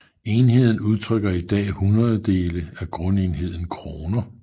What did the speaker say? Enheden udtrykker i dag hundrededele af grundenheden kroner